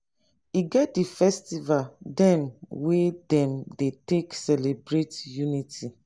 e get di festival dem wey dem dey take celebrate unity.